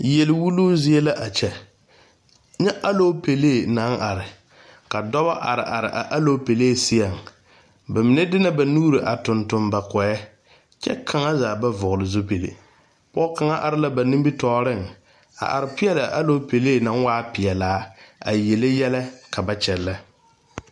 Yɛlɛ wuluu zie la a kyɛ nyɛ alopelee naŋ are ka dɔba are are a alopelee seɛŋ ba mine de na ba nuuri tuŋ tuŋ ba gɔɛ kyɛ kaŋzaa ba vɔgle zupili pɔge kaŋa are la ba nimitɔɔreŋ a are peɛle a alopelee waa peɛlaa a yele yɛlɛ ka ba kyɛnlɛ.